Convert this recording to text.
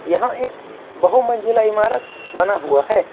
यहां एक बहु मंजिला इमारत बना हुआ है।